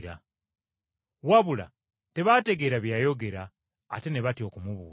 Wabula tebaategeera bye yayogera ate ne batya okumubuuza.